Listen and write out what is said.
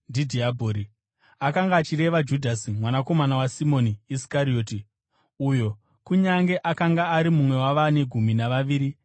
Akanga achireva Judhasi, mwanakomana waSimoni Iskarioti, uyo, kunyange akanga ari mumwe wavane gumi navaviri, aizomupandukira.